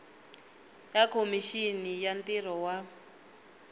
ya khomixini ya ntirho wa